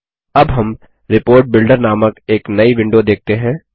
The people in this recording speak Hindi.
अब हम रिपोर्ट बिल्डर नामक एक नई विंडो देखते हैं